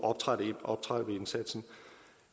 optrappe indsatsen